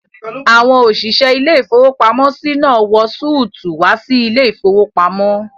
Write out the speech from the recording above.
Àwọn òṣìṣẹ́ ilé-ìfowópamọ́sí náà wọ súùtù wá sí ilé-ìfowópamọ́